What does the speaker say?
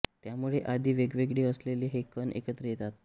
त्यामुळे आधी वेगवेगळे असलेले हे कण एकत्र येतात